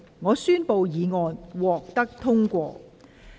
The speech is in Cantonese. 我宣布議案獲得通過。